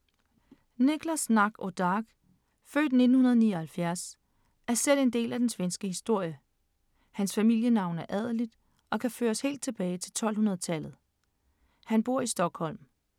Niklas Natt och Dag, født 1979, er selv en del af den svenske historie. Hans familienavn er adeligt og kan føres helt tilbage til 1200-tallet. Han bor i Stockholm.